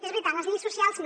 és veritat les lleis socials no